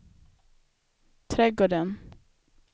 trädgården